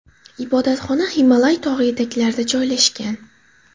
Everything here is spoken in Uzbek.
Ibodatxona Himolay tog‘i etaklarida joylashgan.